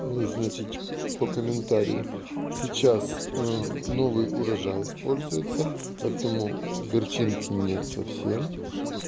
ну и значит по комментарию сейчас новый урожай используется поэтому горчинки нет совсем